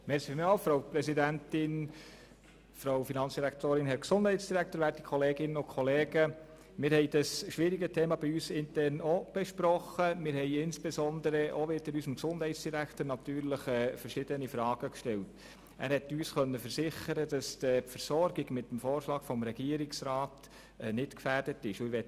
Wir haben unserem Gesundheitsdirektor verschiedene Fragen gestellt, und er konnte uns versichern, dass die Versorgung mit dem Vorschlag des Regierungsrats nicht gefährdet ist.